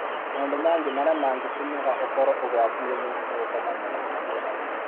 Maũndu mangĩ arĩa mangĩtũmaga ũkorũo ũgwati-inĩ nĩ ta gũkomania na andũ aingĩ.